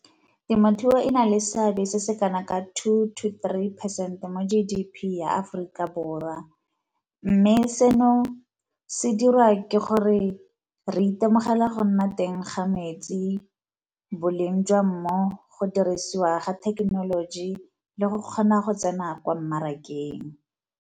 Temothuo e na le seabe se se kana ka two to three percent mo G_D_P ya Aforika Borwa, mme seno se dira ke gore re itemogela go nna teng ga metsi, boleng jwa mmu, go dirisiwa ga thekenoloji le go kgona go tsena kwa mmarakeng.